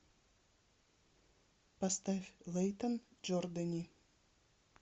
поставь лэйтон джордани